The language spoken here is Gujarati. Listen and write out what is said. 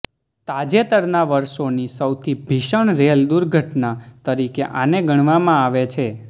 તાજેતરના વર્ષોની સૌથી ભીષણ રેલ દુર્ઘટના તરીકે આને ગણવામાં આવે છે